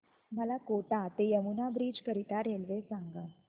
मला कोटा ते यमुना ब्रिज करीता रेल्वे सांगा